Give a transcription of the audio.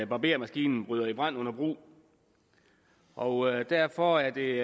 barbermaskinen bryder i brand under brug og derfor er det